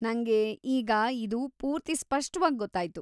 ನಂಗೆ ಈಗ ಇದು ಪೂರ್ತಿ ಸ್ಪಷ್ಟವಾಗ್‌ ಗೊತ್ತಾಯ್ತು.